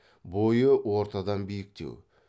бойы ортадан биіктеу